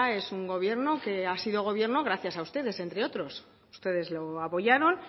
es un gobierno que ha sido gobierno gracias a ustedes entre otros ustedes lo apoyaron